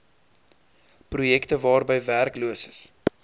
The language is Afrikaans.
projekte waarby werkloses